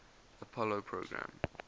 apollo program